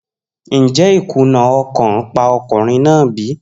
Njẹ ikuna ọkan pa ọkunrin naa bi?